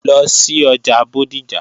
Lọ sí ọjà Bódìjà!